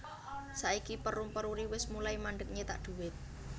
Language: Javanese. Saiki Perum Peruri wes mulai mandeg nyetak duit